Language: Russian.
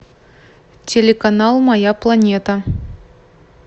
телеканал моя планета